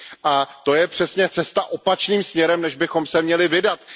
A to je přesně cesta opačným směrem, než bychom se měli vydat.